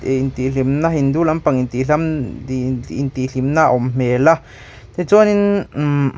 intih hlimna hindu lampang intihlimna a awm hmel a tichuanin mmh--